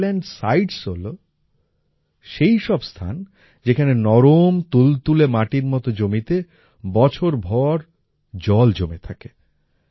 wetland sites হল সেই সব স্থান যেখানে নরম তুলতুলে মাটির মত জমিতে বছরভর জল জমে থাকে